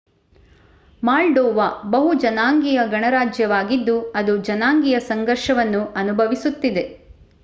moldova ಬಹು-ಜನಾಂಗೀಯ ಗಣರಾಜ್ಯವಾಗಿದ್ದು ಅದು ಜನಾಂಗೀಯ ಸಂಘರ್ಷವನ್ನು ಅನುಭವಿಸುತ್ತಿದೆ